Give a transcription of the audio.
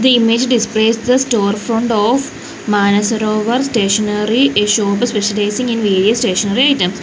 the image displays the store front of manasarovar stationery a shop specializing in various stationery items.